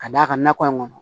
Ka d'a kan nakɔ in kɔnɔ